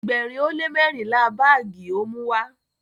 ẹgbẹrin o le mẹrinla baagi o Muwá